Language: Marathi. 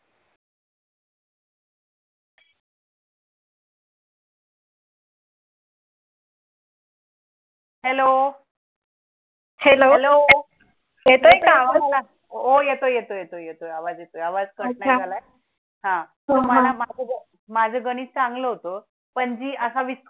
हो येतोय येतोय आवाज येतोय आवाज कट नाही झालाय हा तुम्हाला माझे गणित चांगले होतो. पणजी असा